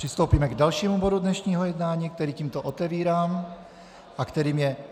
Přistoupíme k dalšímu bodu dnešního jednání, kterým tímto otevírám a kterým je